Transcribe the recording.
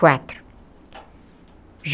Quatro.